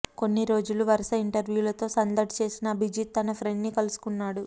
ఇన్ని రోజులు వరుస ఇంటర్వ్యూలతో సందడి చేసిన అభిజిత్ తన ఫ్రెండ్ని కలుసుకున్నాడు